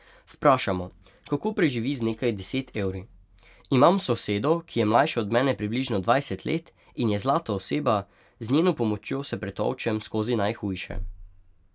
Vprašamo, kako preživi z nekaj deset evri: 'Imam sosedo, ki je mlajša od mene približno dvajset let in je zlata oseba, z njeno pomočjo se pretolčem skozi najhujše.